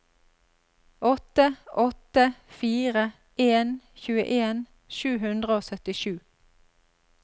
åtte åtte fire en tjueen sju hundre og syttisju